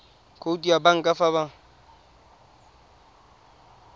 khoutu ya banka fa ba